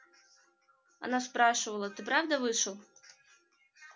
она спрашивала ты правда вышел